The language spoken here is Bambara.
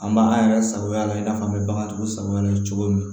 An b'an yɛrɛ sagoya la i n'a fɔ an bɛ bagantigiw sago la cogo min